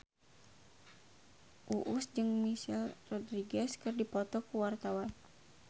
Uus jeung Michelle Rodriguez keur dipoto ku wartawan